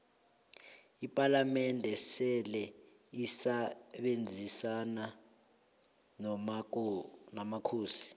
ipalamende seleisebenzisona nomakhosi